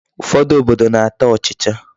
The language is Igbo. Ụfọdụ obodo na-ata ụchịcha.